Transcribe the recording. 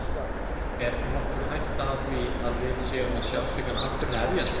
Er nokkur hætta á því að við séum að sjá slíkan atburð hefjast?